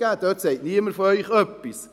Dazu sagt von Ihnen niemand etwas.